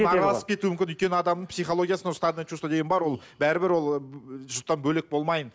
араласып кетуі мүмкін өйткені адамның психологиясында стадный чувство деген бар ол бәрібір ол жұрттан бөлек болмайын